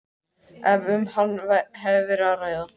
ef um hann hefur verið að ræða.